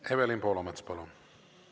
Evelin Poolamets, palun!